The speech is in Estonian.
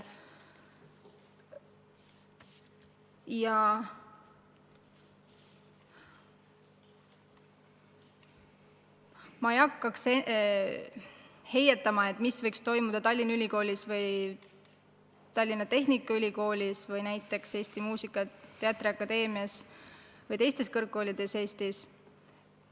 Ma ei hakkaks praegu heietama, mis võiks toimuda Tallinna Ülikoolis, Tallinna Tehnikaülikoolis, Eesti Muusika- ja Teatriakadeemias või teistes kõrgkoolides Eestis.